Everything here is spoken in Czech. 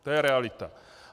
To je realita.